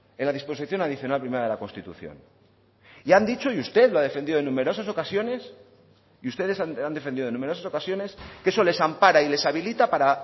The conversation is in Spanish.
en la disposición adicional primera de la constitución y han dicho y usted lo ha defendido en numerosas ocasiones y ustedes han defendido en numerosas ocasiones que eso les ampara y les habilita para